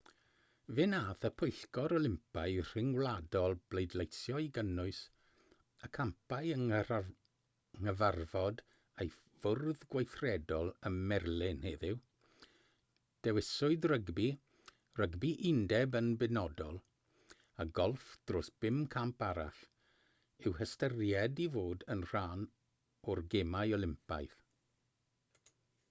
fe wnaeth y pwyllgor olympaidd rhyngwladol bleidleisio i gynnwys y campau yng nghyfarfod ei fwrdd gweithredol ym merlin heddiw dewiswyd rygbi rygbi undeb yn benodol a golff dros bum camp arall i'w hystyried i fod yn rhan o'r gemau olympaidd